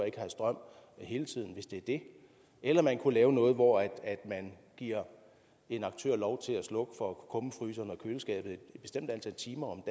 ikke have strøm hele tiden hvis det er det eller man kunne lave noget hvor man giver en aktør lov til at slukke kummefryseren og køleskabet et bestemt antal timer